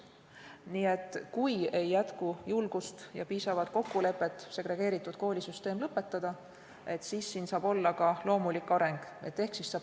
Nii et kui ei jätku julgust ega ole piisavat kokkulepet segregeeritud koolisüsteemi lõpetamiseks, siis loodame loomulikule arengule.